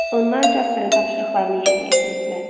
Onlar Jasperin tapşırıqlarını yerinə yetirirdilər.